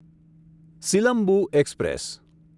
Silambu express